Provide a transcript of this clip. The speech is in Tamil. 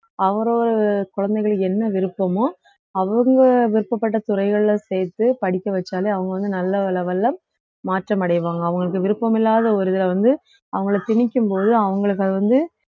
அவரோ குழந்தைகளுக்கு என்ன விருப்பமோ அவுங்க விருப்பப்பட்ட துறைகள்ல சேர்த்து படிக்க வச்சாலே அவுங்க வந்து நல்ல level ல மாற்றம் அடைவாங்க அவுங்களுக்கு விருப்பமில்லாத ஒரு இதுல வந்து அவுங்கள திணிக்கும் போது அவுங்களுக்கு அது வந்து